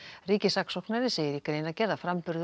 ríkissaksóknari segir í greinargerð að framburður